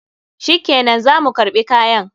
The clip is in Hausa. Shikenan, za mu karɓi kayan.